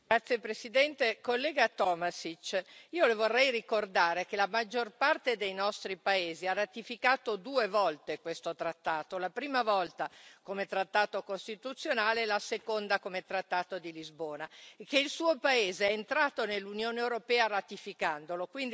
Signor Presidente, onorevoli colleghi, collega Tomašić, io Le vorrei ricordare che la maggior parte dei nostri paesi ha ratificato due volte questo trattato la prima volta come trattato costituzionale, la seconda come trattato di Lisbona e che il suo paese è entrato nell'Unione europea ratificandolo.